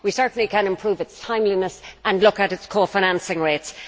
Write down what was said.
We certainly can improve its timeliness and look at its cofinancing rates.